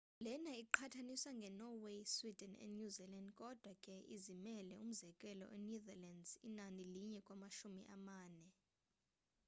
lena iqhathaniswa nge norway sweden and new zealand kodwa ke izimele umzekelo e netherlands inani linye kumashumi amane